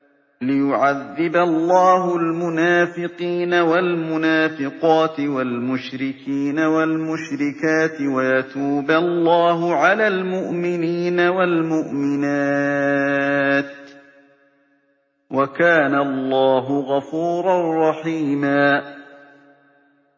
لِّيُعَذِّبَ اللَّهُ الْمُنَافِقِينَ وَالْمُنَافِقَاتِ وَالْمُشْرِكِينَ وَالْمُشْرِكَاتِ وَيَتُوبَ اللَّهُ عَلَى الْمُؤْمِنِينَ وَالْمُؤْمِنَاتِ ۗ وَكَانَ اللَّهُ غَفُورًا رَّحِيمًا